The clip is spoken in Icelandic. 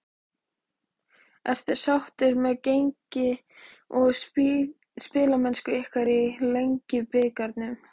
Ertu sáttur með gengi og spilamennsku ykkar í Lengjubikarnum?